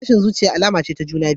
Tashin zuciya alama ce ta juna biyu.